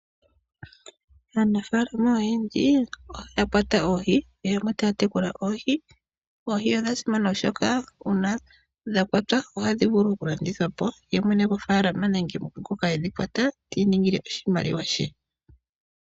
Aanafaalama ogendji otaa kwata oohi, yamwe otaa tekula oohi. Oohi odha simana , oshoka uuna dha kwatwa ohadhi vulu okulandithwa po, ye mwene gofaalama nenge ngoka e dhi kwata, ti iningile oshimaliwa she.